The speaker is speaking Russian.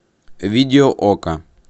видео окко